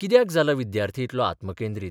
कित्याक जाला विद्यार्थी इतलो आत्मकेंद्रीत?